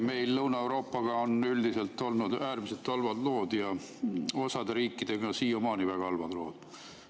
Meil Lõuna-Euroopaga on üldiselt olnud äärmiselt halvad lood, osade riikidega on siiamaani väga halvad lood.